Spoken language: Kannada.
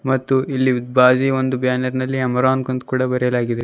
ಮತ್ತು ಇಲ್ಲಿ ಬಾಜಿ ಒಂದು ಬ್ಯಾನರ್ ನಲ್ಲಿ ಅಮೆರೋಂಕ್ ಅಂತ ಕೂಡ ಬರೆಯಲಾಗಿದೆ.